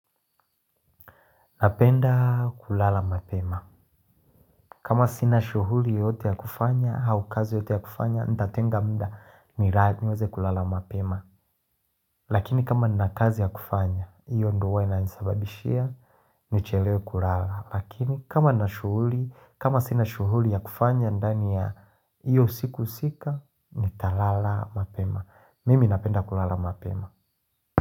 Napenda kulala mapema. Kama sina shughuli yoyote ya kufanya, au kazi yoyote ya kufanya, nitatenga muda niweze kulala mapema. Lakini kama nina kazi ya kufanya, hiyo ndio ina nisababishia ni chelewe kulala. Lakini kama nashughuli, kama sina shughuli ya kufanya, ndani ya hiyo usiku husika, nitalala mapema. Mimi napenda kulala mapema.